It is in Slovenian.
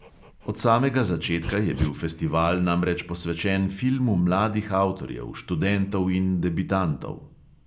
Od samega začetka je bil festival namreč posvečen filmu mladih avtorjev, študentov in debitantov.